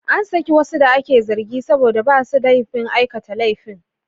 An saki wasu da ake zargin saboda ba su da laifin aikata laifin.